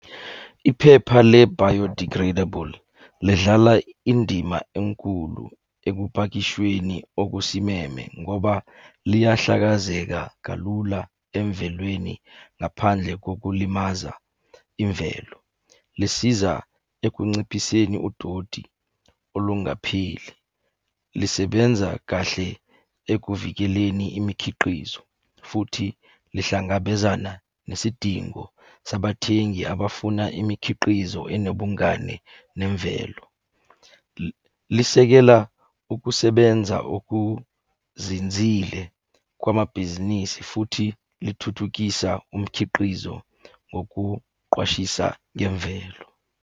Iphepha le-biodegradable, lidlala indima enkulu ekupakishweni okusimeme ngoba liyahlakazeka kalula emvelweni ngaphandle kokulimaza imvelo. Lisiza ekunciphiseni udoti olungapheli, lisebenza kahle ekuvikeleni imikhiqizo, futhi lihlangabezana nesidingo sabathengi abafuna imikhiqizo enobungani nemvelo. Lisekela ukusebenza okuzinzile kwamabhizinisi futhi lithuthukisa umkhiqizo ngokuqwashisa ngemvelo.